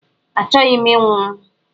Achọghị m inwụ!